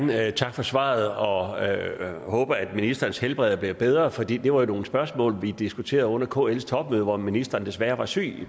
for svaret og og jeg håber at ministerens helbred er blevet bedre ford et var jo nogle spørgsmål vi diskuterede under kls topmøde hvor ministeren desværre var syg